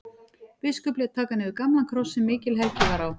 Biskup lét taka niður gamlan kross sem mikil helgi var á.